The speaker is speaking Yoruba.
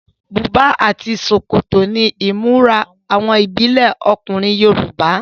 Bùbá àti ṣòkòtò ni ìmúra àwọn ìbílẹ ọkùnrin Yorùbá.